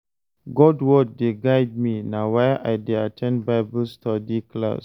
God word dey guide me, na why I dey at ten d Bible study class.